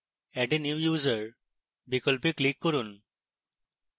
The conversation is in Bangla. add a new user বিকল্পে click করুন